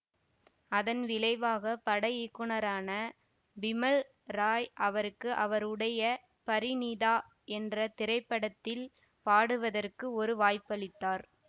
அதன் விளைவாக பட இயக்குனரான பிமல் ராய் அவருக்கு அவருடைய பரிநீதா என்ற திரைப்படத்தில் பாடுவதற்கு ஒரு வாய்ப்பளித்தார்